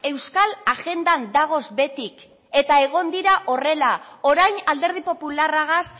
euskal agendan dagoz betik eta egin dira horrela orain alderdi popularragaz